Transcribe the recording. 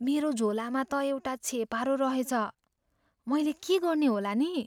मेरो झोलामा त एउटा छेपारो रहेछ। मैले के गर्ने होला नि?